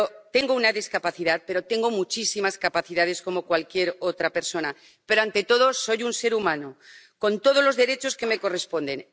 tengo una discapacidad y tengo muchísimas capacidades como cualquier otra persona, pero ante todo soy un ser humano, con todos los derechos que me corresponden